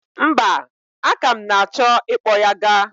Mba, aka m na-achọ i kpọ ya ga.